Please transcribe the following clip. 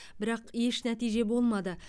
бірақ еш нәтиже болмады